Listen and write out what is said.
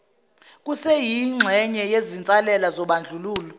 kuseyingxenye yezinsalela zobandlululo